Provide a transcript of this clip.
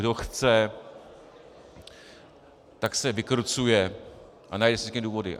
Kdo chce, tak se vykrucuje a najde si vždycky důvody.